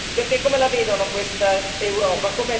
Perché, come la vedono questa Europa?